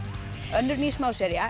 önnur ný